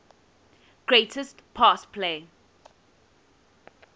greatest pass play